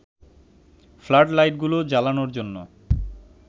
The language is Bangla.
ফ্লাড লাইটগুলো জ্বালানোর জন্য